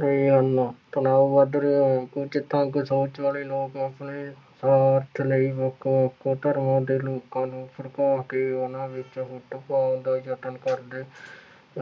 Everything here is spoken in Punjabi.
ਰਹੇ ਹਨ। ਤਣਾਅ ਵੱਧ ਰਿਹਾ ਹੈ। ਕੁੱਝ ਤੰਗ ਸੋਚ ਵਾਲੇ ਲੋਕ ਆਪਣੇ ਸੁਆਰਥ ਲਈ ਵੱਖ ਵੱਖ ਧਰਮਾਂ ਦੇ ਲੋਕਾਂ ਨੂੰ ਭੜਕਾ ਕੇ ਉਹਨਾ ਵਿੱਚ ਫੁੱਟ ਪਾਉਣ ਦਾ ਯਤਨ ਕਰਦੇ